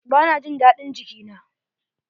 Ba na jin daɗin jiki na.